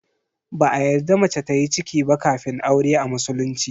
Ba a yarda mace tayi ciki ba kafin aure a musulunci.